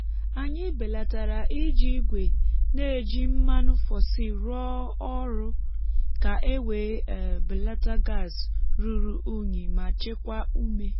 anyị belatara iji igwe na-eji mmanụ fosil rụọ ọrụ ka e wee um belata gas um ruru um unyi ma chekwaa ume.